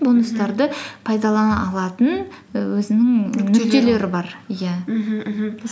бонустарды пайдалана алатын і өзінің нүктелері бар иә мхм мхм